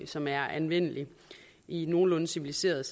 som er anvendelig i nogenlunde civiliserede